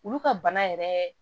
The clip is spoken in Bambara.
Olu ka bana yɛrɛ